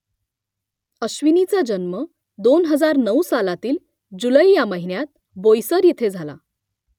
अश्विनीचा जन्म दोन हजार नऊ सालातील जुलै या महिन्यात बोईसर इथे झाला